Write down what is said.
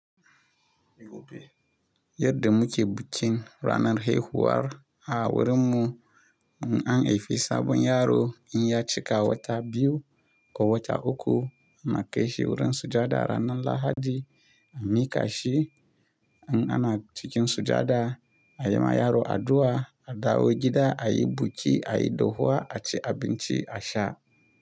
Yadda muke bukin ranar haihuwar a wurinmu, in an haifi sabon yaro, in ya cika wata biyu ko wata uku, mu kai shi wurin sujada ranar Lahadi a miƙa shi. In ana cikin sujada, a yi ma yaro addu'a, a dawo gida, a yi buki, a yi dohuwa, a ci abinci, a sha.